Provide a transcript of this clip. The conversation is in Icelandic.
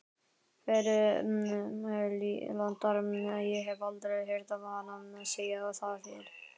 Kverúlantar- ég hef aldrei heyrt hana segja það fyrr.